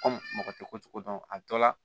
mɔgɔ tɛ ko cogo dɔn a dɔ la